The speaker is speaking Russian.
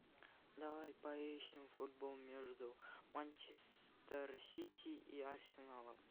давай поищем футбол между манчестер сити и арсеналом